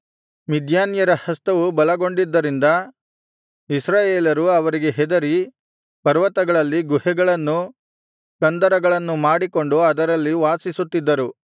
ಮಿದ್ಯಾನ್ಯರ ಹಸ್ತವು ಬಲಗೊಂಡಿದ್ದರಿಂದ ಇಸ್ರಾಯೇಲರು ಅವರಿಗೆ ಹೆದರಿ ಪರ್ವತಗಳಲ್ಲಿ ಗುಹೆಗಳನ್ನು ಕಂದರಗಳನ್ನು ಮಾಡಿಕೊಂಡು ಅದರಲ್ಲಿ ವಾಸಿಸುತ್ತಿದ್ದರು